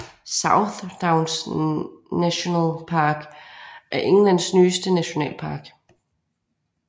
South Downs National Park er Englands nyeste nationalpark